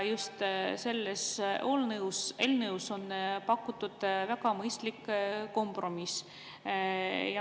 Selles eelnõus on pakutud väga mõistlikku kompromissi.